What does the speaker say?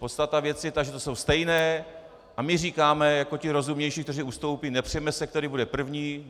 Podstata věci je ta, že to jsou stejné, a my říkáme jako ti rozumnější, kteří ustoupí, nepřeme se, který bude první.